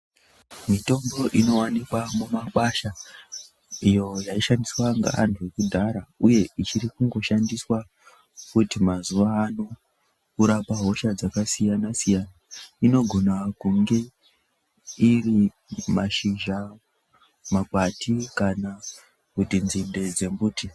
Mitombo inowanikwa mumakwasha iyo yaishandiswa ngeantu ekudhara uye ichiri kungoshandiswa futi mazuva ano kurapa hosha dzakasiyana-siyana inogona kunge iri mashizha, makwati kana kuti nzinde dzembuti.